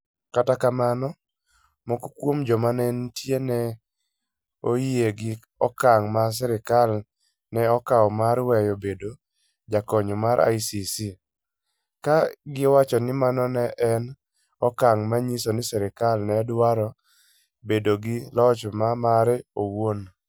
Kata kamano, moko kuom joma ne nitie ne oyie gi okang ' ma sirkal ne okawo mar weyo bedo jakanyo mar ICC, ka giwacho ni mano ne en okang ' manyiso ni sirkal ne dwaro bedo gi loch ma mare owuon.